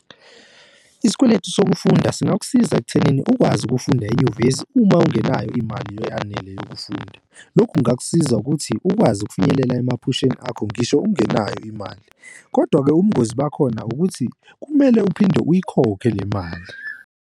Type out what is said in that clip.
Isikweletu sokufunda singakusiza ekuthenini ukwazi ukufunda enyuvesi uma ungenayo imali eyanele yokufunda. Lokhu kungakusiza ukuthi ukwazi ukufinyelela emaphasheni akho ngisho ungenayo imali. Kodwa-ke ubungozi bakhona ukuthi kumele uphinde uyikhokhe le mali.